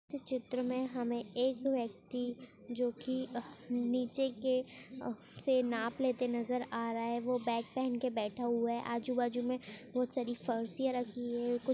इस चित्र में हमें एक व्यक्ति जोकि नीचे के से नाप लेते नज़र आ रहा है वो बैग पहन के बैठा हुआ है। आजू बाजु में बहुत सारी फर्शिया रखी हुई है।